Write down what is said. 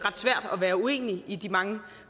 være uenig i de mange